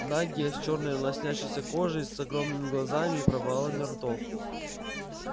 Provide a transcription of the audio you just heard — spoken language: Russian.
нагие с чёрной лоснящейся кожей с огромными глазами и провалами ртов